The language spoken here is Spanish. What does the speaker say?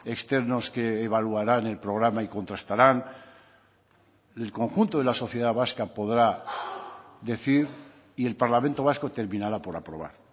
externos que evaluarán el programa y contrastarán el conjunto de la sociedad vasca podrá decir y el parlamento vasco terminará por aprobar